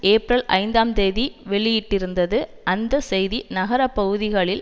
April ஐந்தாம் தேதி வெளியிட்டிருந்தது அந்த செய்தி நகர பகுதிகளில்